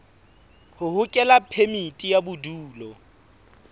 ho hokela phemiti ya bodulo